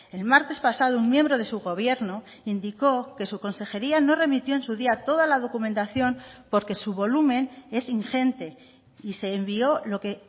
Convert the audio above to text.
el martes pasado un miembro de su gobierno indicó que su consejería no remitió en su día toda la documentación porque su volumen es ingente y se envió lo que